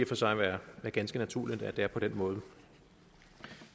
for sig være ganske naturligt at det er på den måde